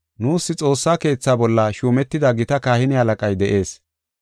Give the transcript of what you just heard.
Nuus Xoossa Keetha bolla shuumetida gita kahine halaqay de7ees.